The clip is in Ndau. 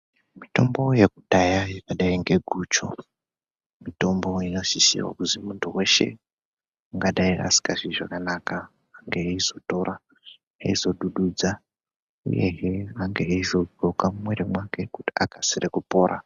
Mitombo yekudhaya yakadai ngeguchu mitombo inosisira kuzi muntu weshe ungadai asikazwi zvakanaka engeeizotora eizodududza uyehe angeeizodhloka mumwiri mwake kuti akasire kupora.